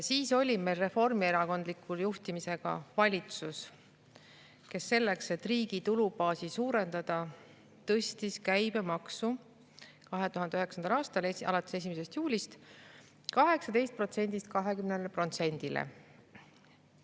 Siis oli meil reformierakondliku juhtimisega valitsus, kes selleks, et riigi tulubaasi suurendada, tõstis käibemaksu 2009. aasta 1. juulist 18%‑lt 20%‑le.